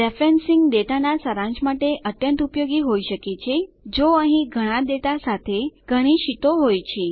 referencing ડેટાનાં સારાંશ માટે અત્યંત ઉપયોગી હોઈ શકે છે જો અહીં ઘણી ડેટા સાથે ઘણી શીટો હોય